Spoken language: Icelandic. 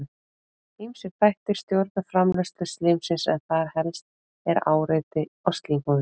Ýmsir þættir stjórna framleiðslu slímsins en þar helst er áreiti á slímhúðina.